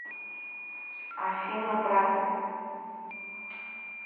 афина брат